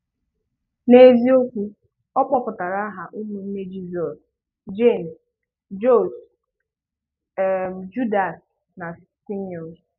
N’ezìokwu, ọ gụ̀pùtárà àhà ụmụ̀nné Jísọs: Jéms, Jósès, um Júdàs, na Saịmòn.